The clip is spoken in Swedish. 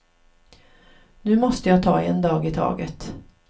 Nu måste jag ta en dag i taget.